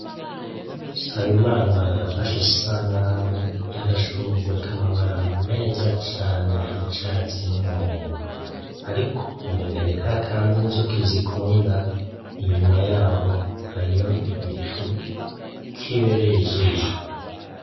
Nsabimana yafashe isanamu y'agashurwe k'amabara meza cane y'icatsi n'umuhondo ariko umengo ni kakandi inzuki zikunda, inyuma yaho hariyo igicu kibereye ijisho.